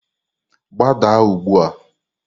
Gbadaa ugbu a!